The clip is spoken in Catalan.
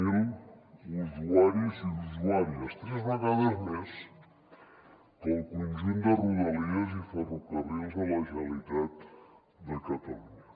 zero usuaris i usuàries tres vegades més que el conjunt de rodalies i ferrocarrils de la generalitat de catalunya